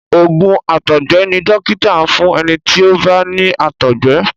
oògùn àtọgbẹ ní dókítà fún ẹní tí o bá ní àtọgbẹ.